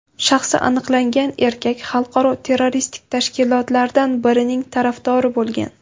Shaxsi aniqlangan erkak xalqaro terroristik tashkilotlardan birining tarafdori bo‘lgan.